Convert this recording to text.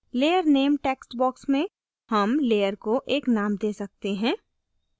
layer name text box में हम layer को एक name दे सकते हैं